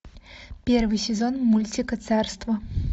первый сезон мультика царство